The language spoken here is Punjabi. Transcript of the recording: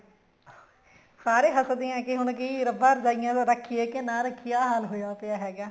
ਸਾਰੇ ਹੱਸਦੇ ਹੈ ਹੁਣ ਕੀ ਰੱਬਾ ਰਜਾਈਆਂ ਰੱਖੀਏ ਕੇ ਨਾ ਰੱਖੀਏ ਆਹ ਹਾਲ ਹੋਇਆ ਪਇਆ ਹੈਗਾ